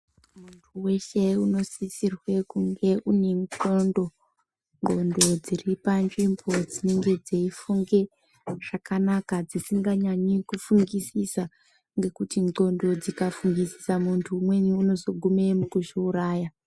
Muntu weshe unosisirwe kunge unendxondo, ndxondo dziripanzvimbo dzinenge dzeifunge zvakanaka dzisinganyanyi kufunisisa. Ngekuti ndxondo dzikafungisisa muntu umweni ungazogume mukuzviuraya.